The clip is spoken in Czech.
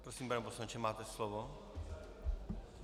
Prosím, pane poslanče, máte slovo.